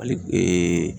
Hali